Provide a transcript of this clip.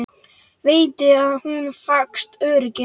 Veitti hún honum falskt öryggi?